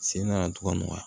Sen nana togo min na